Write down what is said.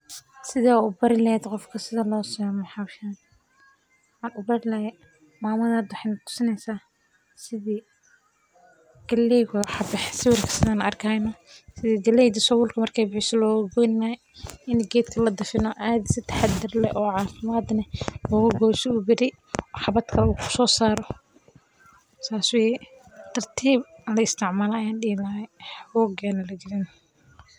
Sideed u bari lahayd qofka sida loo sameeyo hawshan, maxan u bari lahay mamadan wexee na tusini haysa sidii galley waye waxa baxee hada siwirka san arkeyno, sidii galleyda sawulka marke bisho loga goyni lahay, ini geedka ladafin o cathi si taxaadar leh o cafiimaad leh oga goyso si beeri xabaad kalee u ku sosaro, sas weye tartiib hala isticmalo ayan dihi lahay hoga la jane.